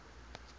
puebloan peoples